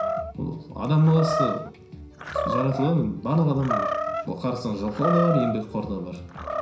ол адамның баласы жаратылған енді барлық адам арасында жалқау да бар еңбекқор да бар